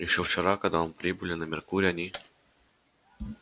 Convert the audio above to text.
ещё вчера когда он прибыли на меркурий они